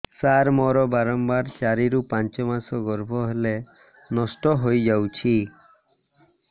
ସାର ମୋର ବାରମ୍ବାର ଚାରି ରୁ ପାଞ୍ଚ ମାସ ଗର୍ଭ ହେଲେ ନଷ୍ଟ ହଇଯାଉଛି